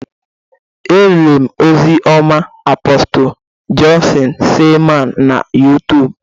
E lerem ozi ọma Apostle Johnson Seleman na YuTub.